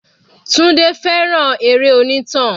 Tunde fẹ́ràn eré onítàn.